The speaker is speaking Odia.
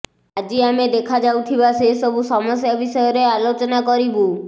ଆଜି ଆମେ ଦେଖାଯାଉଥିବା ସେ ସବୁ ସମସ୍ୟା ବିଷୟରେ ଆଲୋଚନା କରିବୁ